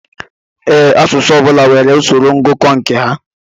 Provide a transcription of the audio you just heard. Ee, asụsụ ọbula nwèrè usoro ngụkọ nke ha.